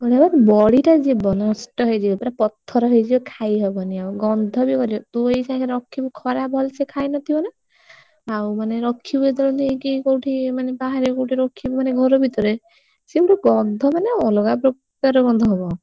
ହେ ବଡି ଟା ଯିବ ନଷ୍ଟ ହେଇଯିବ ପୁରା ପଥର ହେଇଯିବ ଖାଇ ହବନି ଆଉ ଗନ୍ଧ ବି କରିବ ତୁ ଏଇଛା ରଖିବୁ ଖରା ଭଲ ସେ ଖାଇ ନ ଥିବ ନା ଆଉ ମାନେ ରଖିବୁ ଯେତେ ବେଳେ ନେଇକି କୋଉଠି ମାନେ ବାହାରେ କୋଉଠି ରଖିବୁ ମାନେ ଘର ଭିତରେ ସେ ପୁରା ଗନ୍ଧ ମାନେ ପୁରା ଅଲଗା ପ୍ରକାର ଗନ୍ଧ ହବ।